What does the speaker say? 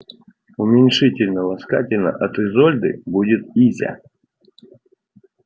уменьшительно-ласкательно от изольды будет изя